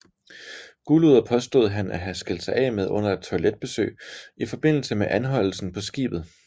Gulduret påstod han at have skilt sig af med under et toiletbesøg i forbindelse med anholdelsen på skibet